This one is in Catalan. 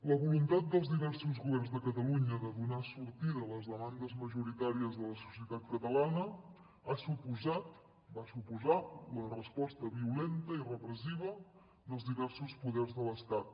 la voluntat dels diversos governs de catalunya de donar sortida a les demandes majoritàries de la societat catalana ha suposat va suposar la resposta violenta i repressiva dels diversos poders de l’estat